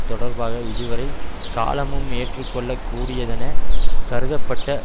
தொடர்பாக இதுவரை காலமும் ஏற்றுக்கொள்ளக் கூடியதெனக் கருதப்பட்ட